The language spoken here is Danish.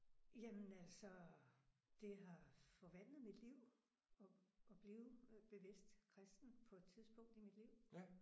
Jamen altså det har forvandlet mit liv at at blive bevidst kristen på et tidspunkt i mit liv